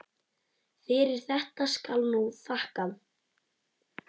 Fyrir þetta skal nú þakkað.